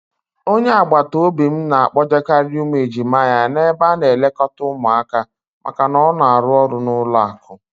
Onye agbataobi m na-akpọjekarị ụmụ ejima ya n'ebe a na-elekọta ụmụaka maka na ọ na-arụ n'ụlọakụ.